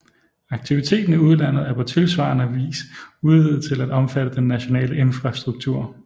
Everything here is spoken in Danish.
Aktiviteten i udlandet er på tilsvarende vis udvidet til at omfatte den nationale infrastruktur